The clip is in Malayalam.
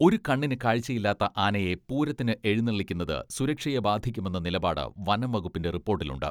ഒരു കണ്ണിന് കാഴ്ച്ചയില്ലാത്ത ആനയെ പൂരത്തിന് എഴുനെള്ളിക്കുന്നത് സുരക്ഷയെ ബാധിക്കുമെന്ന നിലപാട് വനംവകുപ്പിന്റെ റിപ്പോട്ടിലുണ്ട്.